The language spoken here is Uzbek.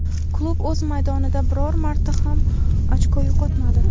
Klub o‘z maydonida biror marta ham ochko yo‘qotmadi.